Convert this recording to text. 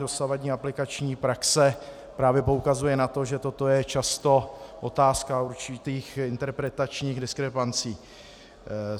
Dosavadní aplikační praxe právě poukazuje na to, že toto je často otázka určitých interpretačních diskrepancí.